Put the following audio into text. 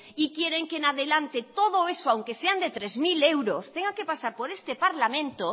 y quieren que en adelante todo eso aunque sean de tres mil euros tenga que pasar por este parlamento